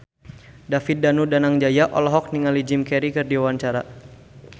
David Danu Danangjaya olohok ningali Jim Carey keur diwawancara